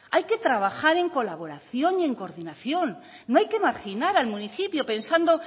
hay que trabajar en colaboración y en coordinación no hay que marginar al municipio pensando